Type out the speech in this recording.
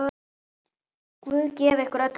Guð gefi ykkur öllum styrk.